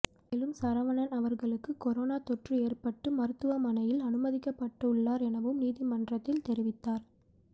மேலும் சரவணன் அவர்களுக்கும் கொரோனா தொற்று ஏற்பட்டு மருத்துவமனையில் அனுமதிக்கப்பட்டுள்ளார் எனவும் நீதிமன்றத்தில் தெரிவித்தார்